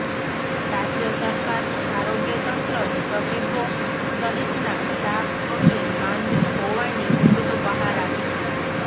રાજય સરકારનું આરોગ્ય તંત્ર જ તબીબો સહિતના સ્ટાફ અંગે માંદુ હોવાની વિગતો બહાર આવી છે